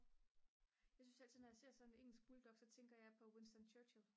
jeg synes altid når jeg ser sådan en engelsk bulldog så tænker jeg på Winston Churchill